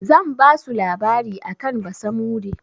Zan basu labari akan basamude.